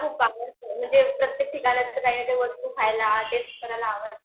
मला खूप आवडतं म्हणजे प्रत्येक ठिकाणचं काही ना काही वस्तू खायला टेस्ट करायला आवडते.